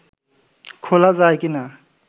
খোলা যায় কি না